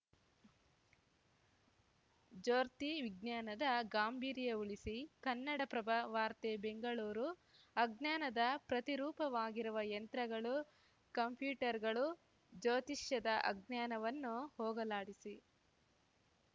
ಜ್ಯೋರ್ತಿ ವಿಜ್ಞಾನದ ಗಾಂಭೀರ್ಯ ಉಳಿಸಿ ಕನ್ನಡಪ್ರಭ ವಾರ್ತೆ ಬೆಂಗಳೂರು ಅಜ್ಞಾನದ ಪ್ರತಿರೂಪವಾಗಿರುವ ಯಂತ್ರಗಳು ಕಂಪ್ಯೂಟರ್‌ಗಳು ಜ್ಯೋತಿಷ್ಯದ ಅಜ್ಞಾನವನ್ನು ಹೋಗಲಾಡಿಸಿ